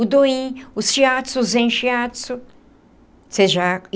O do in, o shiatsu, o zen shiatsu vocês já